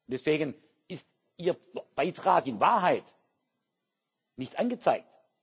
Deswegen ist Ihr Beitrag in Wahrheit nicht angezeigt.